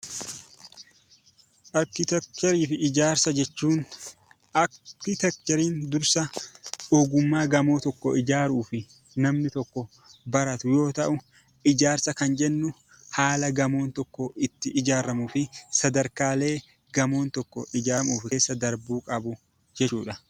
Arkiteekcharii fi ijaarsa jechuun arkiteekchariin dursa ogummaa ijaarsa namni tokko baratu yoo ta'u, ijaarsa kan jennu haala gamoon tokko itti ijaaramu sadarkaalee gamoon tokko keessa dabarbuu qabu jirudha.